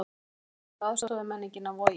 Kannski lifir baðstofumenningin á Vogi.